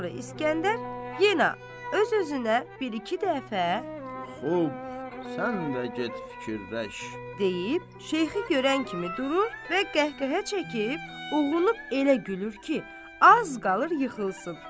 Sonra İsgəndər yenə öz-özünə bir-iki dəfə "Xub, sən də get fikirləş" deyib, Şeyxi görən kimi durur və qəhqəhə çəkib uğrunub elə gülür ki, az qalır yıxılsın.